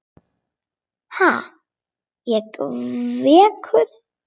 Ha, ég veikur!